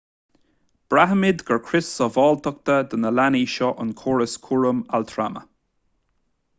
braithimid gur crios sábháilteachta do na leanaí seo an córas cúraim altrama